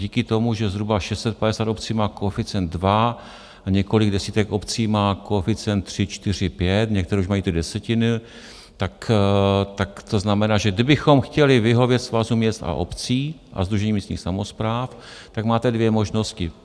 Díky tomu, že zhruba 650 obcí má koeficient 2, a několik desítek obcí má koeficient 3, 4, 5, některé už mají ty desetiny, tak to znamená, že kdybychom chtěli vyhovět Svazu měst a obcí a Sdružení místních samospráv, tak máte dvě možnosti.